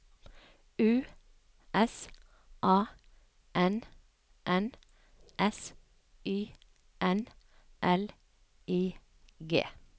U S A N N S Y N L I G